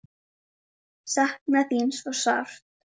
Sakna þín svo sárt.